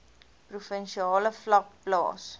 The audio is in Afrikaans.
provinsiale vlak plaas